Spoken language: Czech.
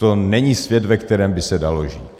To není svět, ve kterém by se dalo žít.